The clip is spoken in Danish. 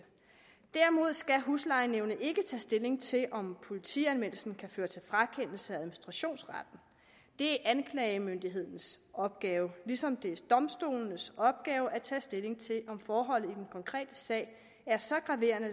derimod skal huslejenævnet ikke tage stilling til om politianmeldelsen kan føre til frakendelse af administrationsretten det er anklagemyndighedens opgave ligesom det er domstolenes opgave at tage stilling til om forholdene i den konkrete sag er så graverende